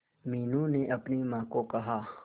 मीनू ने अपनी मां को कहा